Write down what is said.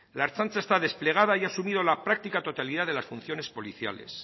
la ertzaintza está desplegada y ha asumido la práctica totalidad de las funciones policiales